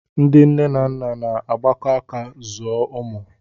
Ndị nne na nna na-agbakọ aka zụọ ụmụ